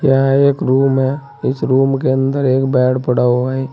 यह एक रूम है इस रूम के अंदर एक बेड पड़ा हुआ है।